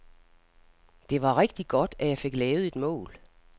Det var rigtig godt, at jeg fik lavet et mål.